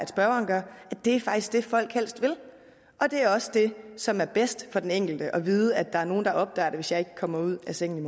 det folk helst vil og det er også det som er bedst for den enkelte altså at vide at der er nogen der opdager det hvis man ikke kommer ud af sengen